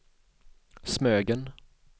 Smögen